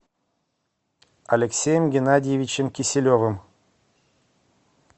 алексеем геннадьевичем киселевым